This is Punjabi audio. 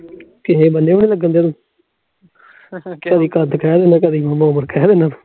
ਕਦੀ ਕਦ ਕਹਿ ਦੇਣਾ ਐ ਕਦੀ ਉਮਰ ਕਹਿ ਦੇਣਾ ਐ